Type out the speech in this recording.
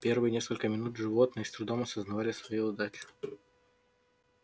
первые несколько минут животные с трудом осознавали свою удачу